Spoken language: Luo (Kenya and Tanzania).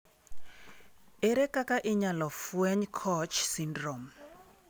Ere kaka inyalo fweny COACH syndrome?